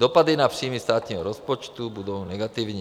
Dopady na příjmy státního rozpočtu budou negativní.